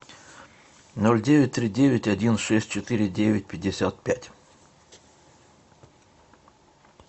ноль девять три девять один шесть четыре девять пятьдесят пять